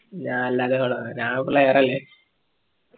ഞാ ല്ലാത്ത ഞാൻ player അല്ലെ